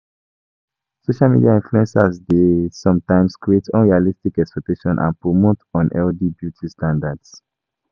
Social media influencers dey sometimes create unrealistic expectations and promote unhealthy beauty standards.